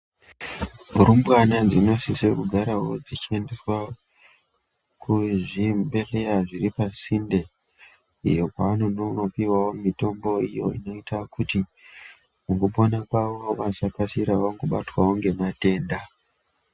Rumbwana dzinosisa kugarawo dzichiendeswa kuzvibhedhlera zviri pasinde iyo kwavanonopiwawo mitombo iyo inoita kuti mukupona kwawo vasakasira vangobatwawo ngematenda.